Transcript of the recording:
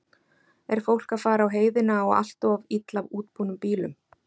Er fólk að fara á heiðina á allt of illa útbúnum bílum?